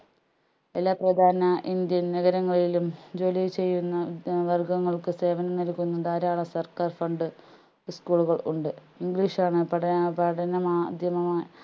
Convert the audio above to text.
എല്ലാ പ്രധാന indian നഗരങ്ങളിലും ജോലി ചെയ്യുന്ന വർഗങ്ങൾക്ക് സേവനം നൽകുന്ന ധാരാളം സർക്കാർ fund school കൾ ഉണ്ട് english ആണ് പഠന പഠനമാധ്യമമായി